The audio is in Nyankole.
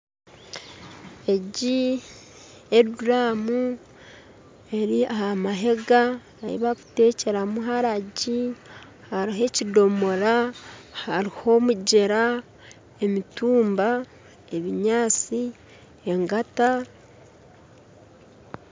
Egi n'eduuramu eri aha mahega ahi bakuteekyeramu waragi hariho ekidoomora hariho omugyera, emitumba, ebinyatsi, engata